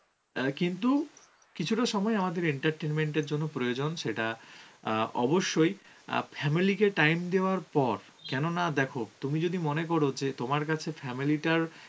অ্যাঁ কিন্তু কিছুটা সময় আমাদের entertainment এর জন্য প্রয়োজন সেটা অ্যাঁ অবশ্যই অ্যাঁ family কে time দেওয়ার পর. কেননা দেখো তুমি যদি মনে করো যে তোমার কাছে family টার